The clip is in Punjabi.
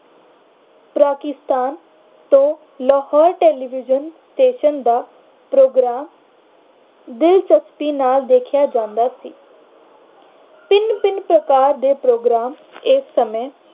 ਪਾਕਿਸਤਾਨ ਤੋਂ ਲਾਹੌਰ television, station ਦਾ ਪ੍ਰੋਗਰਾਮ ਦਿਲਚਸਪੀ ਨਾਲ ਦੇਖਿਆ ਜਾਂਦਾ ਸੀ। ਭਿੰਨ-ਭਿੰਨ ਪ੍ਰਕਾਰ ਦੇ ਪ੍ਰੋਗਰਾਮ ਇਸ ਸਮੇਂ